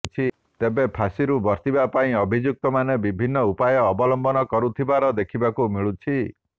ତେବେ ଫାଶୀରୁ ବର୍ତ୍ତିବା ପାଇଁ ଅଭିଯୁକ୍ତମାନେ ବିଭିନ୍ନ ଉପାୟ ଅବଲମ୍ବନ କରୁଥିବା ଦେଖିବାକୁ ମିଳିଛି